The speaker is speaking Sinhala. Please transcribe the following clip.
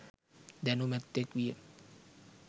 දැනුමැත්තෙක් විය